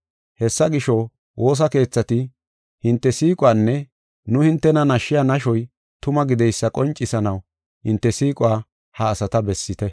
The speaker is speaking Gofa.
Hessa gisho, woosa keethati hinte siiquwanne nu hintena nashiya nashoy tuma gideysa qoncisanaw hinte siiquwa ha asata bessite.